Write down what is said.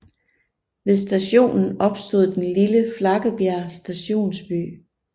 Ved stationen opstod den lille Flakkebjerg Stationsby